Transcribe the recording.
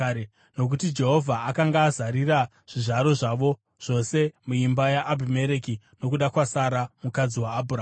nokuti Jehovha akanga azarira zvizvaro zvavo zvose muimba yaAbhimereki nokuda kwaSara mukadzi waAbhurahama.